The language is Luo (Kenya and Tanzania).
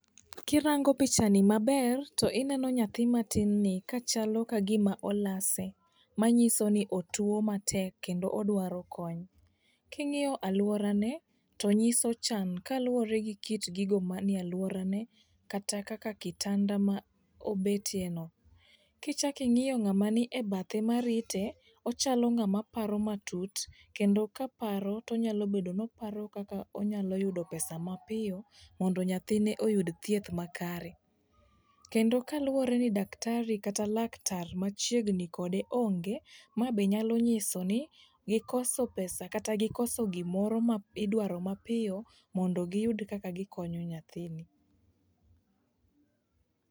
Kirango picha ni maber tineno nyathi matin ni kachalo kagima olase. Manyiso ni otuo matek kendo odwaro kony. King'iyo aluora ne tonyiso chan kaluwore gi kit gigo maniealuora ne kata kaka kitanda ma obetie no. Kichak ing'iyo ng'ama ni ebathe marite pochalo ng'ama paro matut kendo kaparo tonyalo bedo no oparo kaka onyalo yudo pesa mapiyo mondo nyathine oyud thieth makare. Kendo kaluwore ni daktari kata laktar machiegni kode onge ma be nyalo nyiso ni gikoso pesa kata gikoso gimoro ma idwaro mapiyo mondo giyudi kaka gikonyo nyathini.